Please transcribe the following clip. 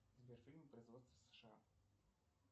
сбер фильмы производства сша